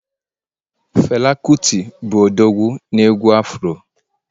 Fela kuti bụ odogwu na egwu Afro